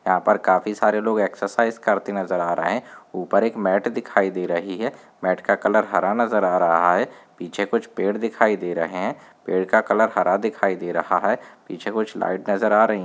यहां पर काफी सारे लोग एक्सरसाइज़ करते नजर आ रहे है ऊपर एक मेट दिखाई दे रही है मेट का कलर हरा नजर आ रहा है पीछे कुछ पेड़ नजर आ रहे है पेड़ का कलर हरा दिखाई दे रहा है पीछे कुछ लाइट नजर आ रही है।